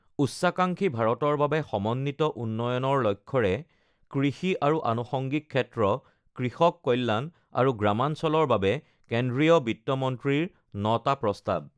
উচ্চাকাঙ্খী ভাৰতৰ বাবে সমন্বিত উন্নয়নৰ লক্ষ্যৰে কৃষি আৰু আনুষঙ্গিক ক্ষেত্ৰ, কৃষক কল্যাণ আৰু গ্ৰামাঞ্চলৰ বাবে কেন্দ্ৰীয় বিত্তমন্ত্ৰীৰ ৯টা প্ৰস্তাৱ